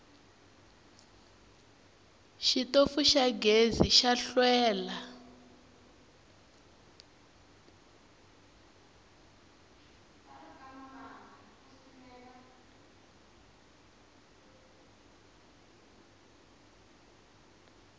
xitofu xa gezi xa hlwela